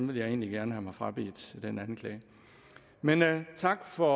vil jeg egentlig gerne have mig frabedt men tak for